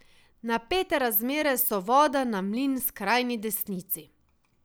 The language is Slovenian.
Napete razmere so voda na mlin skrajni desnici.